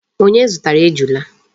Onye zutara Ejula?